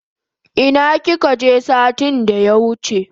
Ina kika je satin da ya wuche?